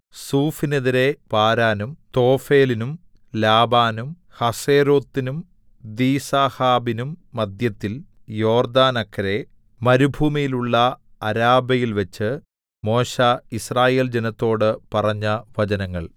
സൂഫിനെതിരെ പാരാനും തോഫെലിനും ലാബാനും ഹസേരോത്തിനും ദീസാഹാബിനും മദ്ധ്യത്തിൽ യോർദ്ദാനക്കരെ മരുഭൂമിയിലുള്ള അരാബയിൽവെച്ച് മോശെ യിസ്രായേൽ ജനത്തോട് പറഞ്ഞ വചനങ്ങൾ